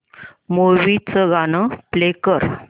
movie चं गाणं play कर